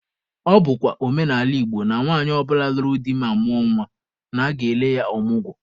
Ọ bụkwa omenala Igbo na nwaanyị ọ bụla nụrụ di ma mụọ nwa, na aga-ele ya ọmụgwọ.